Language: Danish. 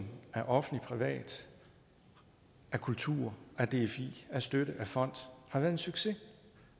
af offentlig privat af kultur af dfi af støtte af fond har været en succes